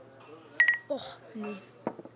Botni